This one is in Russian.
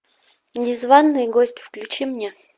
незванный гость включи мне